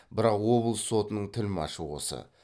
бірақ облыс сотының тілмәшы осы